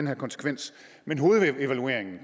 her konsekvens men hovedevalueringen